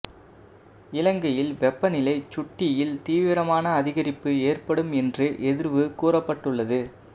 இலங்கையில் வெப்பநிலை சுட்டியில் தீவிரமான அதிகரிப்பு ஏற்படும் என்று எதிர்வு கூறப்பட்டுள்ளது